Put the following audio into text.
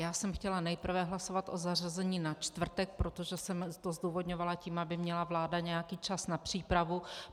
Já jsem chtěla nejprve hlasovat o zařazení na čtvrtek, protože jsem to zdůvodňovala tím, aby měla vláda nějaký čas na přípravu.